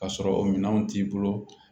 Ka sɔrɔ o minɛnw t'i bolo